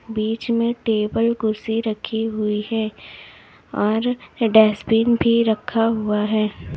बीच में टेबल कुर्सी रखी हुई है और डस्टबिन भी रखा हुआ है।